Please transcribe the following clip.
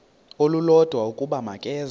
olulodwa ukuba makeze